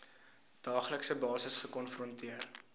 daaglikse basis gekonfronteer